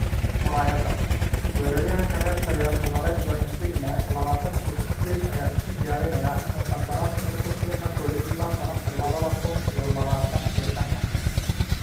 (Murayada) Weeraryahanka reer Talyaani Lorenzo Insigne, labatan iyo sideed ayaa isku diyaarinaya inuu qandaraaska u kordhiyo Napoli ilaa sanadka labada kun iyo labatan iyo shanta.